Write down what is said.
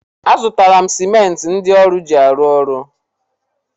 A zụtala m simenti ndị ọrụ ji arụ ọrụ.